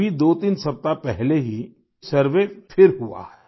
अभी दोतीन सप्ताह पहले ही सर्वे फिर हुआ है